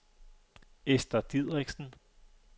Esther Dideriksen